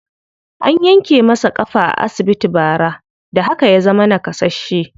An yanke masa ƙafa a asibiti bara, da haka ya zama naƙasasshe.